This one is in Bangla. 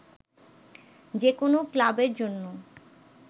যে কোন ক্লাবের জন্য